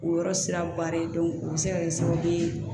O yɔrɔ sira ba de don o be se ka kɛ sababu ye